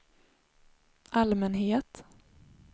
allmänhet